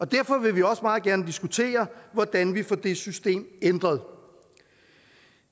derfor vil vi også meget gerne diskutere hvordan vi får det system ændret